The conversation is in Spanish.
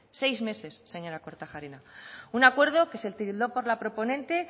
seis meses señora kortajarena un acuerdo que se tildó por la proponente